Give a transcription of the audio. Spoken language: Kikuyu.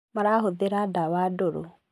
Marahũthĩra ndawa ndũru